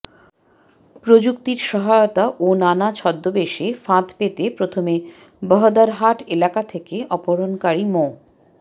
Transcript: প্রযুক্তির সহায়তা ও নানা ছদ্মবেশে ফাঁদ পেতে প্রথমে বহদ্দারহাট এলাকা থেকে অপহরণকারী মো